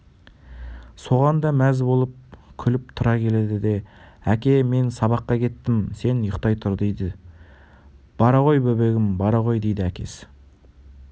соған да мәз болып күліп-тұра келеді де әке мен сабаққа кеттім сен ұйықтай тұр дейді бара ғой бөбегім бара ғой дейді әкесі